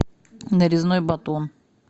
нарезной батон